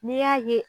N'i y'a ye